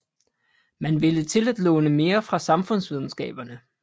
Man ville til at låne mere fra samfundsvidenskaberne